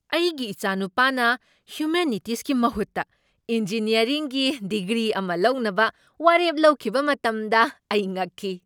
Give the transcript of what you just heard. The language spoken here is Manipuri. ꯑꯩꯒꯤ ꯏꯆꯥꯅꯨꯄꯥꯅ ꯍ꯭ꯌꯨꯃꯦꯅꯤꯇꯤꯁꯀꯤ ꯃꯍꯨꯠꯇ ꯏꯟꯖꯤꯅꯤꯌꯔꯤꯡꯒꯤ ꯗꯤꯒ꯭ꯔꯤ ꯑꯃ ꯂꯧꯅꯕ ꯋꯥꯔꯦꯞ ꯂꯧꯈꯤꯕ ꯃꯇꯝꯗ ꯑꯩ ꯉꯛꯈꯤ꯫